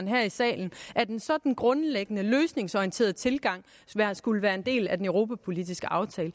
her i salen at en sådan grundlæggende løsningsorienteret tilgang skulle være en del af den europapolitiske aftale